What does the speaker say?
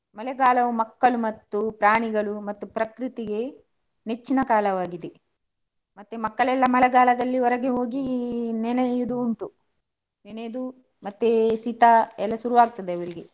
ಮಳೆಗಾಲವು ಮಕ್ಕಳು ಮತ್ತು ಪ್ರಾಣಿಗಳು ಮತ್ತು ಪ್ರಕೃತಿಗೆ ನೆಚ್ಚಿನ ಕಾಲವಾಗಿದೆ. ಮತ್ತೆ ಮಕ್ಕಳೆಲ್ಲ ಮಳೆಗಾಲದಲ್ಲಿ ಹೊರಗೆ ಹೋಗಿ ನೆನೆಯುದು ಉಂಟು. ನೆನೆದು ಮತ್ತೆ ಶೀತ ಎಲ್ಲ ಶುರು ಆಗ್ತದೆ ಅವ್ರಿಗೆ.